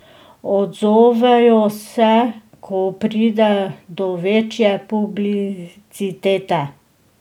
Odzovejo se, ko pride do večje publicitete.